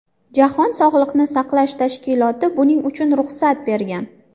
Jahon sog‘liqni saqlash tashkiloti buning uchun ruxsat bergan.